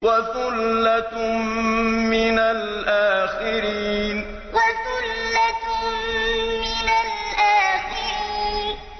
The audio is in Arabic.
وَثُلَّةٌ مِّنَ الْآخِرِينَ وَثُلَّةٌ مِّنَ الْآخِرِينَ